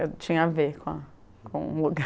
Eu tinha a ver com a com o lugar.